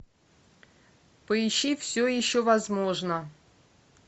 поищи все еще возможно